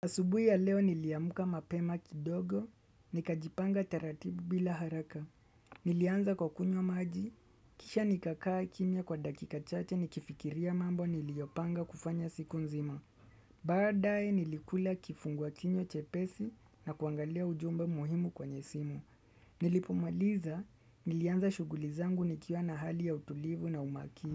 Asubui ya leo niliamuka mapema kidogo, nikajipanga taratibu bila haraka. Nilianza kwa kunywa maji, kisha nikakaa kimya kwa dakika chache nikifikiria mambo niliyopanga kufanya siku nzima. Baadaye nilikula kifungua kinywa chepesi na kuangalia ujumbe muhimu kwenye simu. Nilipomaliza, nilianza shughuli zangu nikiwa na hali ya utulivu na umakini.